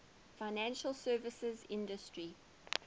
financial services industry